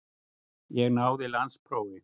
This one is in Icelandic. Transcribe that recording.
Ég náði landsprófi.